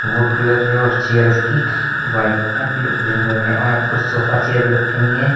Would colour है और chair इस की white uh blue green colour में और यहां पे कुछ सोफा चेयर भी रखी हुई हैं।